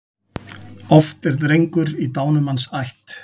Oft er drengur í dánumanns ætt.